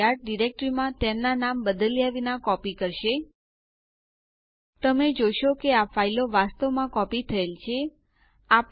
આ કરવા માટે કમાન્ડ પ્રોમ્પ્ટ ઉપર ટાઇપ કરો